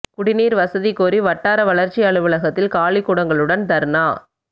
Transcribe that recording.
குடிநீா் வசதி கோரி வட்டார வளா்ச்சி அலுவலகத்தில் காலிக் குடங்களுடன் தா்னா